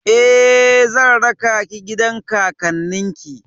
Eh, zan raka ki gidan kakannin ki.